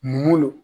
Munu